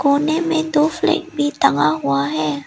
कोने में दो फ्लैग भी टंगा हुआ है।